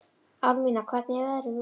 Árnína, hvernig er veðrið úti?